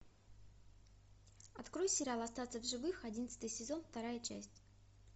открой сериал остаться в живых одиннадцатый сезон вторая часть